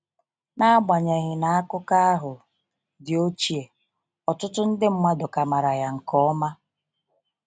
N'agbanyeghị na akụkọ ahụ dị ochie, ọtụtụ ndi mmadụ ka mara ya nke ọma.